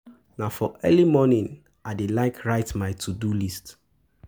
Na for early morning I dey like write my to-do list.